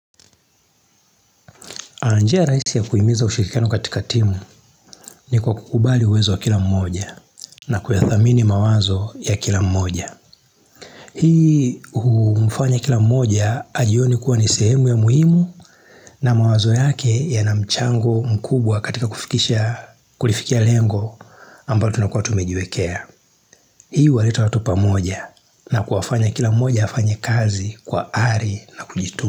Njia raisi ya kuimiza ushirikiano katika timu ni kwa kukubali uwezo wa kila mmoja na kuyathamini mawazo ya kila mmoja. Hii umfanya kila mmoja ajione kuwa ni sehemu ya muhimu na mawazo yake ya na mchango mkubwa katika kufikisha kulifikia lengo ambayo tunakuwa tumejiwekea. Hii huwaleta watu pamoja na kuwafanya kila mmoja hafanye kazi kwa ari na kujituma.